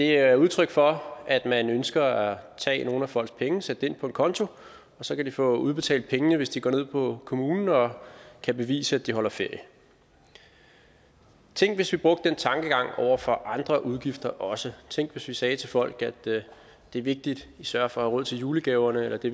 er udtryk for at man ønsker at tage nogle af folks penge sætte pengene ind på en konto og så kan de få udbetalt pengene hvis de går ned på kommunen og kan bevise at de holder ferie tænk hvis vi brugte den tankegang over for andre udgifter også tænk hvis vi sagde til folk at det er vigtigt at i sørger for at have råd til julegaverne eller at det